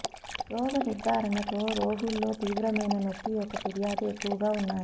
రోగ నిర్ధారణతో రోగుల్లో తీవ్రమైన నొప్పి యొక్క ఫిర్యాదు ఎక్కువగా ఉన్నాయి